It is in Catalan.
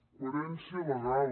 coherència legal